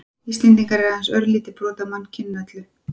Íslendingar eru aðeins örlítið brot af mannkyninu öllu.